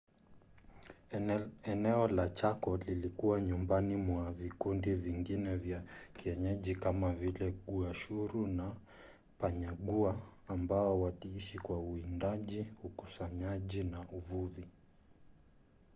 eneo la chako lilikuwa nyumbani mwa vikundi vingine vya kienyeji kama vile guaycurú na payaguá ambao waliishi kwa uwindaji ukusanyaji na uvuvi